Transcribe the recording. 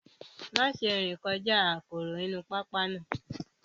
Má ṣe rìn kọjá aporo inú pápá náà